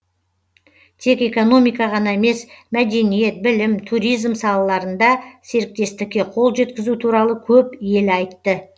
тек экономика ғана емес мәдениет білім туризм салаларында серіктестікке қол жеткізу туралы көп ел айтты